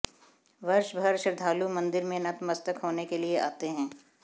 वर्षभर श्रद्धालु मंदिर में नतमस्तक होने के लिए आते हैं